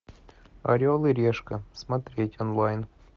орел и решка смотреть онлайн